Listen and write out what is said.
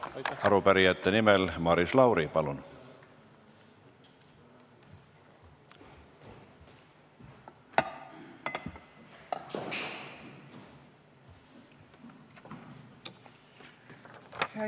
Arupärijate nimel Maris Lauri, palun!